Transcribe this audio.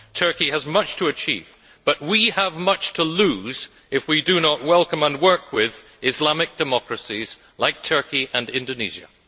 Turkey has much to achieve, but we have much to lose if we do not welcome and work with Islamic democracies like Turkey and Indonesia.